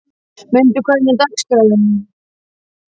Munda, hvernig er dagskráin?